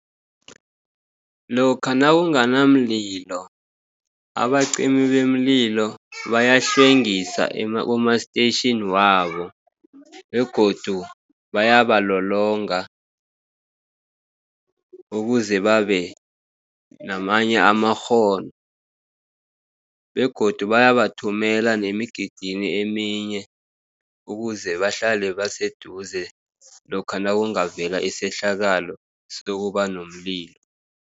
Lokha nakungana mlilo abacimibemlilo bayahlwengisa kuma-station wabo, begodu bayabalolonga ukuze babenamanye amakghono, begodu bayaba bathumela nemigidini eminye, ukuzebahlale baseduze lokha nakungavela isehlakalo sokubanomlilo.